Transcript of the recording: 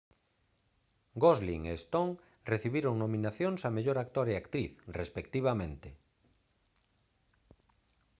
gosling e stone recibiron nominacións a mellor actor e actriz respectivamente